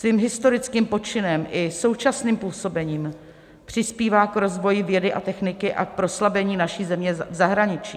Svým historickým počinem i současným působením přispívá k rozvoji vědy a techniky a k proslavení naší země v zahraničí.